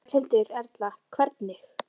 Berghildur Erla: Hvernig?